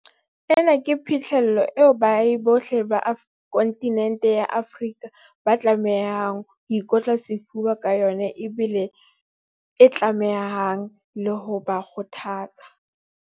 Ena ke phihlello eo baahi bohle ba kontinente ya rona ya Afrika ba tlamehang ho ikotla sefuba ka yona ebile e tlamehang le ho ba kgothatsa.